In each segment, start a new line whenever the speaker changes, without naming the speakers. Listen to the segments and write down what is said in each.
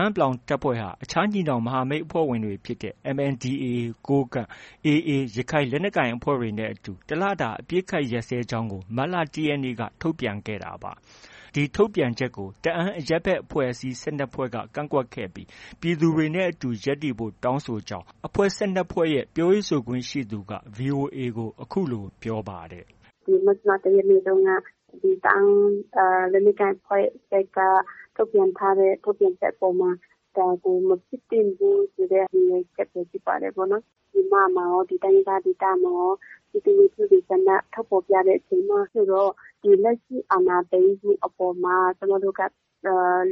န်း(ပလောင်)တပ်ဖွဲ့ ဟာ အခြားညီနောင်မဟာမိတ်အဖွဲ့ဝင်တွေဖြစ်တဲ့ MNDAA ကိုးကန့်၊ AA ရခိုင်လက်နက်ကိုင်အဖွဲ့တို့နဲ့အတူ တစ်လတာ အပစ်အခတ်ရပ်စဲကြောင်းကို မတ်လ ၁ရက်နေ့က ထုတ်ပြန်ခဲ့တာပါ။ ဒီထုတ်ပြန်ချက်နဲ့ပတ်သက်ပြီး တအန်းအရပ်ဘက်အဖွဲ့အစည်း ၁၂ဖွဲ့က ကန့်ကွက်ခဲ့ပြီး ပြည်သူတွေနဲ့အတူ ရပ်တည်ဖို့ တောင်းဆိုကြောင်း အဖွဲ့ ၁၂ဖွဲ့ရဲ့ ပြောရေးဆိုခွင့်ရှိသူ က VOA ကို အခုလိုပြောပါတယ်။
“ ဒီမတ်လ ၁ရက်နေ့တုံးက ဒီ တအန်းလက်နက်ကိုင်အဖွဲ့ဘက်က ထုတ်ပြန်ထားတဲ့ ထုတ်ပြန်ချက်အပေါ်မှာ ဒါကို မဖြစ်သင့်ဘူးဆိုတဲ့ ရည်ရွယ်ချက်ပဲ ဖြစ်ပါတယ်။ ပြည်မမှာရော၊ ဒီတိုင်းရင်းသားဒေသမှာရော ပြည်သူလူထုတွေက ဆန္ဒထုတ်ဖော်ပြတဲ့အချိန်မှာဆိုတော့၊ လက်ရှိအာဏာသိမ်းမှုအပေါ်မှာ ကျမတို့က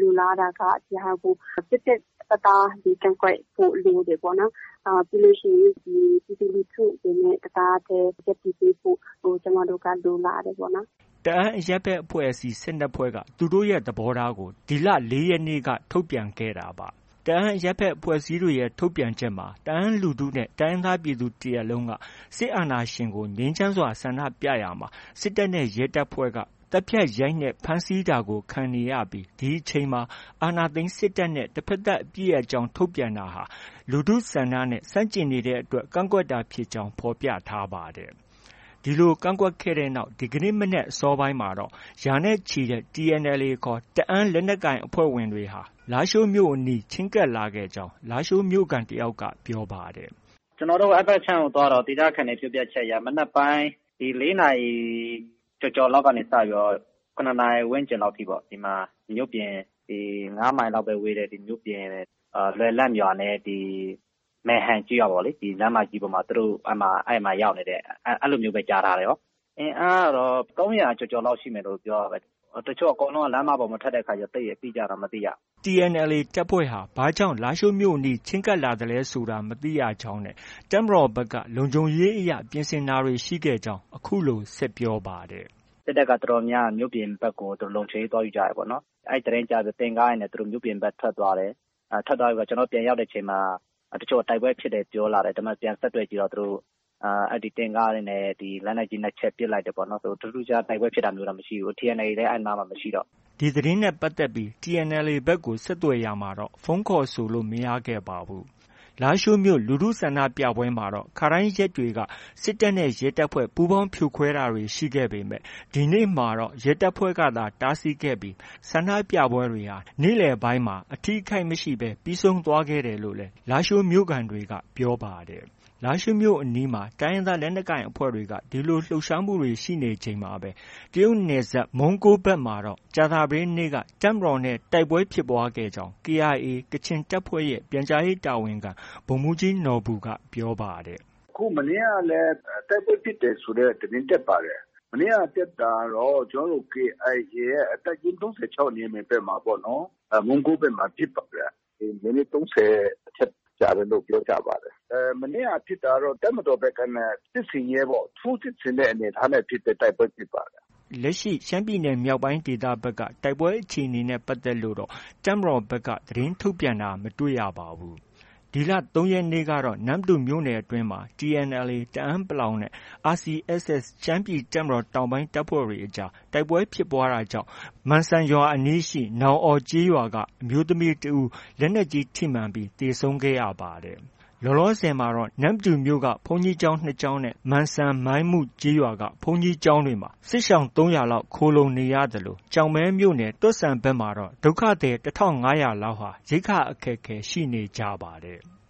လိုလားတာက ဒီဟာကို ပြတ်ပြတ်သားသား ကန့်ကွက်ဖို့ လိုတယ်ပေါ့နော်။ ပြီးလို့ရှိရင် ပြည်သူလူထုတွေနဲ့ တစ်သားတည်း ရပ်တည်ပေးဖို့ ကျမတို့က လိုလားတယ်ပေါ့နော်။”
တအန်းအရပ်ဘက်အဖွဲ့အစည်း ၁၂ဖွဲ့က သူတို့ရဲ့ သဘောထားကို ဒီလ ၄ရက်နေ့က ထုတ်ပြန်ခဲ့တာပါ။ တအန်းအရပ်ဘက်အဖွဲ့အစည်းတွေရဲ့ ထုတ်ပြန်ချက်မှာ တအန်းလူထုနဲ့ တိုင်းရင်းသားပြည်သူတစ်ရပ်လုံးက စစ်အာဏာရှင်ကို ငြိမ်းချမ်းစွာဆန္ဒပြရာမှာ စစ်တပ်နဲ့ ရဲတပ်ဖွဲ့က သတ်ဖြတ်၊ ရိုက်နှက်၊ ဖမ်းဆီးခြင်းကို ခံနေရပြီး၊ ဒီအချိန်မှာ အာဏာသိမ်းစစ်တပ်နဲ့ တဖက်သတ်အပစ်ရပ်ကြောင်း ထုတ်ပြန်တာဟာ လူထုဆန္ဒနဲ့ ဆန့်ကျင်နေတဲ့အတွက် ကန့်ကွက်ကြောင်း ဖော်ပြထားပါတယ်။ ဒီလို ကန့်ကွက်ခဲ့တဲ့နောက် ဒီကနေ့ မနက် အစောပိုင်းမှာတော့ ရာနဲ့ ချီတဲ့ TNLA ခေါ် တအန်းလက်နက်ကိုင်အဖွဲ့တွေဟာ လားရှိုးမြို့အနီးထိ ချဉ်းကပ်လာခဲ့ကြောင်း လားရှိုးမြို့ခံတစ်ဦးက ပြောပါတယ်။
“ ကျနော်တို့ အဲဒီဘက်ခြမ်းကို သွားတော့ ဒေသခံတွေပြောပြချက်အရ မနက်ပိုင်း ၄နာရီ ကျော်ကျော်လောက်က စပြီး ၇နာရီ ဝန်းကျင်လောက်အထိပေါ့ ဒီမှာ မြို့ပြင် ၅မိုင်လောက်ပဲ ဝေးတဲ့ မြို့ပြင် လွယ်လန့်ရွာနဲ့ ဒီ မယ်ဟန်ကျေးရွာပေါ့။ ဒီလမ်းမကြီးပေါ်မှာ သူတို့ ရောက်နေတယ်။ အဲလိုမျိုးပဲ ကြားထားတယ်။ အင်အားကတော့ ၃၀၀ကျော်ကျော်လောက်ရှိမယ်လို့ ပြောတာပဲ။ တချို့ကလည်း လမ်းမပေါ် အကုန်လုံး မထွက်တော့ အတိအကျတော့ မသိရဘူး။
” TNLA တပ်ဖွဲ့တွေဟာ ဘာကြောင့် လားရှိုးမြို့အနီး ချဉ်းကပ်လာသလဲ ဆိုတာမသိရကြောင်းနဲ့ တပ်မတော်ဘက်က လုံခြုံရေးအရ ပြင်ဆင်မှုတွေ ရှိခဲ့ကြောင်း အခုလို ဆက်ပြောပါတယ်။
“ စစ်တပ်က တော်တော်များတယ်။ မြို့ပြင်ဘက်ကို လုံခြုံရေးသွားယူကြတယ်ပေါ့နော်။ အဲဒီသတင်းကြားပြီးတော့ တင့်ကားတွေနဲ့ သူတို့ မြို့ပြင်ဘက် ထွက်သွားတယ်။ ထွက်သွားပြီးတော့ ကျနော်တို့ ပြန်ရောက်တဲ့အချိန်မှာ တချို့က တိုက်ပွဲဖြစ်တယ်ပြောလာတယ်။ ဒါပေမဲ့ ပြန်ဆက်သွယ်ကြည့်တော့ အဲဒီတင့်ကားတွေနဲ့ လက်နက်ကြီး ၂ချက် ပစ်လိုက်တယ်ပေါ့နော်။ ထူးထူးခြားခြား တိုက်ပွဲဖြစ်တာမျိုးတော့ မရှိဘူး။ TNLA လည်း အဲဒီနားမှာ မရှိတော့ဘူး
။” ဒီသတင်းနဲ့ပတ်သက်ပြီး TNLA ဘက်ကို ဆက်သွယ်ရာမှာတော့ ဖုန်းခေါ်ဆိုလို့ မရခဲ့ပါဘူး။ လားရှိုးမြို့ လူထုဆန္ဒပြပွဲမှာတော့ ခါတိုင်းရက်တွေက စစ်တပ်နဲ့ ရဲတပ်ဖွဲ့ ပူးပေါင်း ဖြိုခွဲတာတွေရှိပေမဲ့ ဒီနေ့မှာတော့ ရဲတပ်ဖွဲ့ကသာ တားဆီးခဲ့ပြီး ဆန္ဒပြပွဲတွေဟာ နေ့လည်ပိုင်းမှာ အထိအခိုက်မရှိဘဲ ပြီးဆုံးခဲ့တယ်လို့လည်း လားရှိုး မြို့ခံတွေက ပြောပါတယ်။ လားရှိုးမြို့အနီးမှာ တိုင်းရင်းသားလက်နက်ကိုင်တွေက ဒီလို လှုပ်ရှားမှုတွေရှိနေချိန်မှာပဲ တရုတ်နယ်စပ် မုံးကိုးဘက်မှာတော့ ကြာသပတေးနေ့က တပ်မတော်နဲ့ တိုက်ပွဲဖြစ်ပွားခဲ့ကြောင်း KIA ကချင်တပ်ဖွဲ့ရဲ့ ပြန်ကြားရေးတာဝန်ခံ ဗိုလ်မှုးကြီးနော်ဘူက ပြောပါတယ်။ “ အခု မနေ့ကလည်း တိုက်ပွဲဖြစ်တယ်ဆိုတဲ့ သတင်းတက်ပါတယ်။ မနေ့က တက်တာကတော့ ကျနော်တို့ KIA တပ်ရင်း ၃၆နေရာဘက်မှာပေါ့နော်။ မုံးကိုးဘက်မှာ ဖြစ်ပါတယ်။ မိနစ် ၃၀အထက်ကြာတယ်လို့ ပြောကြပါတယ်။ မနေ့က ဖြစ်တာကတော့ တပ်မတော်ဘက်ကနေ စစ်ဆင်ရေးပေါ့၊ ထိုးစစ်ဆင်တဲ့အနေအထားနဲ့ ဖြစ်တဲ့ တိုက်ပွဲဖြစ်ပါတယ်။” လက်ရှိ ရှမ်းမြောက်ဒေသဘက် က တိုက်ပွဲအခြေအနေနဲ့ပတ်သက်လို့တော့ တပ်မတော်ဘက်က သတင်းထုတ်ပြန်တာ မတွေ့ရပါဘူး။ ဒီလ ၃ရက်နေ့ကတော့ နမ္မတူမြို့နယ်အတွင်းမှာ TNLA တအန်း(ပလောင်)နဲ့ RCSS ရှမ်းပြည်တပ်မတော် တောင်ပိုင်းတပ်ဖွဲ့တွေအကြား တိုက်ပွဲဖြစ်ပွားတာကြောင့် မန့်စံရွာအနီးက နောင်အော်ကျေးရွာက အမျိုးသမီးတစ်ဦးလက်နက်ကြီးထိမှန်ပြီး သေဆုံးခဲ့ရပါတယ်။ လောလောဆည်မှာ နမ္မတူမြို့ဘုန်းကြီးကျောင်း ၂ကျောင်းနဲ့ မန်စံ၊ မိုင်းမုကျေးရွာက ဘုန်းကြီးကျောင်းတွေမှာ စစ်ရှောင် ၃၀၀ကျော်လောက် ခိုလှုံနေရသလို ကျောက်မဲမြို့နယ် တော့ဆန်ဘက်မှာတော့ ဒုက္ခသည် ၁၅၀၀ လောက်ဟာ ရိက္ခာအခက်အခဲရှိနေကြပါတယ်။